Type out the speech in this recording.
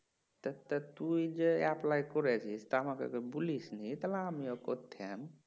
তা তা তুই যে apply করেছিস তা আমাকে তো বলিসনি তাহলে আমিও করতাম